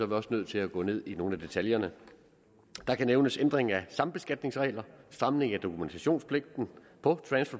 vi også nødt til at gå ned i nogle af detaljerne der kan nævnes ændring af sambeskatningsregler samling af dokumentationspligten på transfer